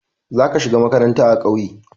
Za ka shiga makaranta a ƙauye.